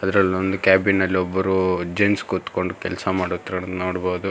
ಅದರಲ್ ಒಂದ್ ಕ್ಯಾಬಿನ್ ಅಲ್ ಒಬ್ರು ಜೆಂಟ್ಸ್ ಕೂತ್ಕೊಂಡು ಕೆಲ್ಸ ಮಾಡುತ್ತಿರುವುದು ನೋಡ್ಬೋದು.